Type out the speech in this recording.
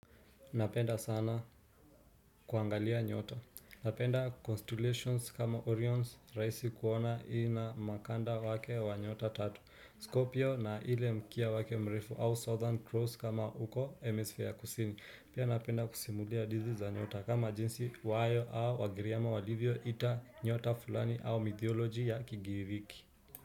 Napenda sana kuangalia nyota, napenda constellations kama orion rahisi kuona ina mkanda wake wa nyota tatu, scorpio na ile mkia wake mrefu au southern cross kama huko hemisphere kusini, pia napenda kusimulia hadithi za nyota kama jinsi wayo au wagiriama walivyo ita nyota fulani au mitholojia ya kigiriki.